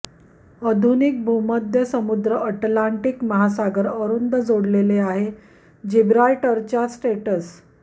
आधुनिक भूमध्य समुद्र अटलांटिक महासागर अरुंद जोडलेले आहे जिब्राल्टर च्या स्ट्रेट्स